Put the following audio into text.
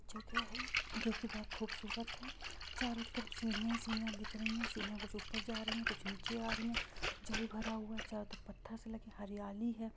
जगह है जो कि बहुत खूबसूरत है चारों तरफ सीढ़ियाँ ही सीढ़ियां दिख रही है सीढ़ियाँ कुछ ऊपर जा रही है कुछ नीचे आ रही है जल भरा हुआ है चादर पत्थर से लगे हरियाली है।